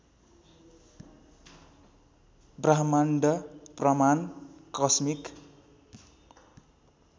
ब्रह्माण्ड प्रमाण कस्मिक